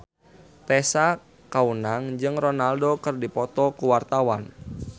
Tessa Kaunang jeung Ronaldo keur dipoto ku wartawan